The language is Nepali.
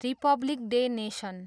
Republic day nation.